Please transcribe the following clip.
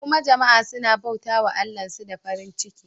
Kuma jama'a suna bauta wa Allahnsu da farin ciki.